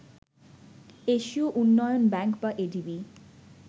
এশীয় উন্নয়ন ব্যাংক বা এডিবি